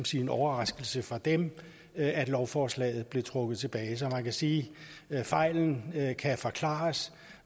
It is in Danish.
sige en overraskelse for dem at lovforslaget blev trukket tilbage så man kan sige at fejlen kan forklares